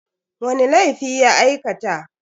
Wani laifi ya aikata?